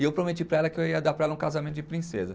E eu prometi para ela que eu ia dar para ela um casamento de princesa.